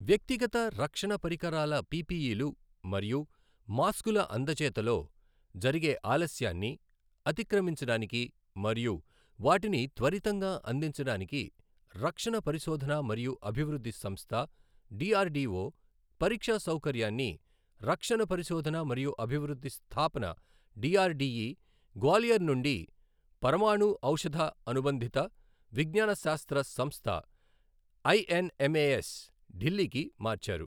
వ్యక్తిగత రక్షణ పరికరాల పిపిఇ లు మరియు మాస్కుల అందజేతలో జరిగే ఆలస్యాన్ని అతిక్రమించడానికి మరియు వాటిని త్వరితంగా అందించడానికి రక్షణ పరిశోధన మరియు అభివృద్ధి సంస్థ డిఆర్డీఓ పరీక్షా సౌకర్యాన్ని రక్షణ పరిశోధన మరియు అభివృద్ధి స్థాపన డిఆర్డిఇ, గ్వాలియర్ నుండి పరమాణు ఔషధ అనుబంధిత విజ్ఞానశాస్త్ర సంస్థ ఐఎన్ఎంఏఎస్, ఢిల్లీకి మార్చారు.